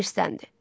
Qasım irsləndi.